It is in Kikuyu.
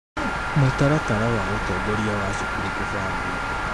Mũtaratara wa ũtongoria wa cukuru (kũbangwo)